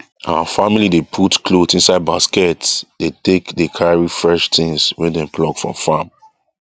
our family dey put cloth inside basket dey take dey carry fresh things wey dem pluck from farm